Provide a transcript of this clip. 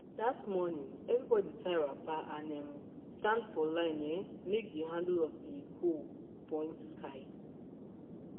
that morning everybody tie wrapper and um stand for line um make the handle of their hoe point sky.